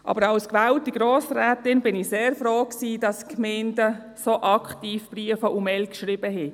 Aber als gewählte Grossrätin war ich sehr froh, dass die Gemeinden so aktiv Briefe und Mails schickten.